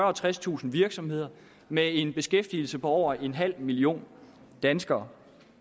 og tredstusind virksomheder med en beskæftigelse på over en halv million danskere